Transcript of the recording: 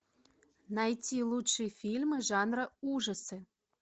найти лучшие фильмы жанра ужасы